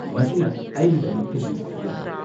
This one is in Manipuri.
ꯃꯁꯤꯅ ꯑꯩꯒꯤꯗꯃꯛꯇꯗꯤ ꯌꯥꯔꯦ꯫